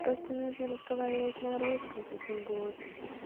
просто нужно разговаривать на русском с этим ботом